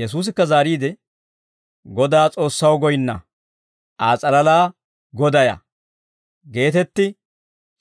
Yesuusikka zaariide, « ‹Godaa S'oossaw goyinna, Aa s'alalaa Godaya› geetetti